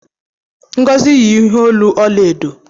Ngozi yi ihe olu ọla edo.